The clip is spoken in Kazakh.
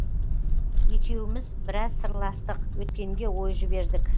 екеуміз біраз сырластық өткенге ой жібердік